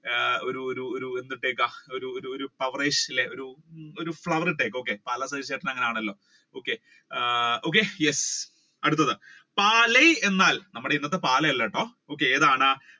ഒരു ഒരു ഒരു ഒരു എന്തിട്ടേക്കുക ഒരു ഒരു ഒരു അല്ലെ പവരേഷ് ഒരു flower ഇട്ടേക്കുക പാലാ സജി ചേട്ടൻ അങ്ങനെ ആണല്ലോ okay ആഹ് okay yes അടുത്തത് പാലായ് എന്നാൽ നമ്മുടെ ഇന്നത്തെ പാലാ അല്ല കേട്ടോ ഏതാണ്